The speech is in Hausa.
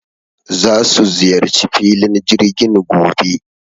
Za su ziyarci filin jirgin gobe